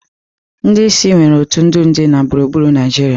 Ndị isi nwere otu ndị ndu na gburugburu ọrụ.